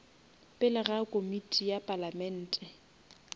pele ga komiti ya palamente